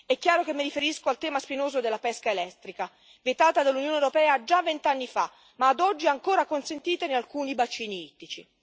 È chiaro che mi riferisco al tema spinoso della pesca elettrica, vietata dall'Unione europea già vent'anni fa, ma ad oggi ancora consentita in alcuni bacini ittici.